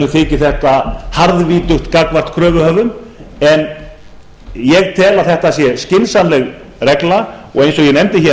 þyki þetta harðvítugt gagnvart kröfuhöfum en ég tel að þetta sé skynsamleg regla og eins og ég nefndi hér